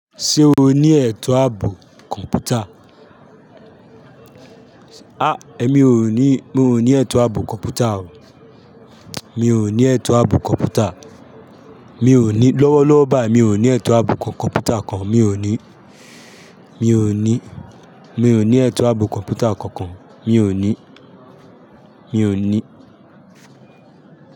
Ṣé o ni ẹ̀tọ́ àbò komputa? Èmi ò ní, mi ò ní ẹ̀tọ́ ààbò kọ̀m̀pútà o. Mi ò ní ẹ̀tọ́ ààbò kọ̀m̀pútà. Mi ò ní, lọ́wọ́lọ́wọ́ báa yí mi ò ní ẹ̀tọ́ ààbò kọ̀m̀pútà kan. Mi ò ní. Mi ò ní. Mi ò ní ẹ̀tọ́ ààbò kọ̀m̀pútà kankan. Mi ò ní. Mi ò ní.